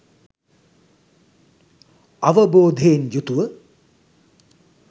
අවබෝධයෙන් යුතුව